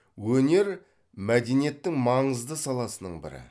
өнер мәдениеттің маңызды саласының бірі